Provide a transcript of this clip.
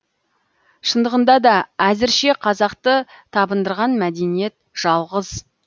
шындығында да әзірше қазақты табындырған мәдениет жалғыз